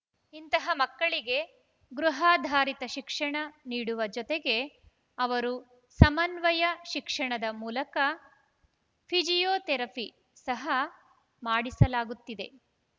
ಇಂತಹ ಮಕ್ಕಳಿಗೆ ಗೃಹಾಧಾರಿತ ಶಿಕ್ಷಣ ನೀಡುವ ಜೊತೆಗೆ ಅವರು ಸಮನ್ವಯ ಶಿಕ್ಷಣದ ಮೂಲಕ ಫಿಜಿಯೋಥೆರಫಿ ಸಹ ಮಾಡಿಸಲಾಗುತ್ತಿದೆ